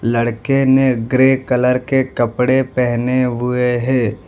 लड़के ने grey colour के कपड़े पहने हुए है।